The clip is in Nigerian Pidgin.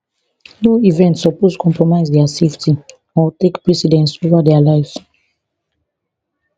no event suppose compromise dia safety or take precedence ova dia lives